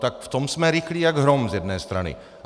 Tak v tom jsme rychlí jak hrom z jedné strany.